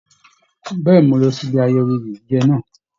Bẹ̀ẹ́ni, mo lọ síbi ayẹyẹ oye jíjẹ náà.